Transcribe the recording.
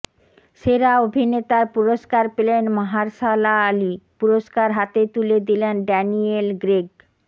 সেরা অভিনেতার পুরস্কার পেলেন মাহারশালা আলি পুরস্কার হাতে তুলে দিলেন ড্যানিয়েল গ্রেগ